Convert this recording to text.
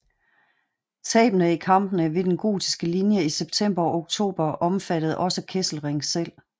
Tabene i kampene ved den gotiskelinje i september og oktober omfattede også Kesselring selv